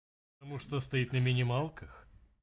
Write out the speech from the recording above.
потому что стоит на минималках